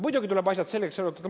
Muidugi tuleb asjad selgeks arutada.